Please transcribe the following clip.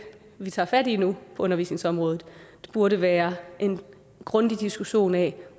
vi tager fat i nu på undervisningsområdet burde være en grundig diskussion af